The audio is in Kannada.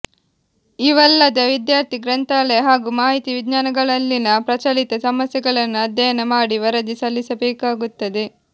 ಇವಲ್ಲದೆ ವಿದ್ಯಾರ್ಥಿ ಗ್ರಂಥಾಲಯ ಹಾಗೂ ಮಾಹಿತಿ ವಿಜ್ಞಾನಗಳಲ್ಲಿನ ಪ್ರಚಲಿತ ಸಮಸ್ಯೆಗಳನ್ನು ಆಧ್ಯಯನ ಮಾಡಿ ವರದಿ ಸಲ್ಲಿಸಬೇಕಾಗುತ್ತದೆ